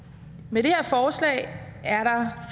med det her forslag er der